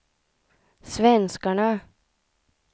svenskarna